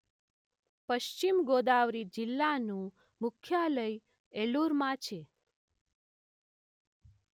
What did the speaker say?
પશ્ચિમ ગોદાવરી જિલ્લાનું મુખ્યાલય એલુરમાં છે.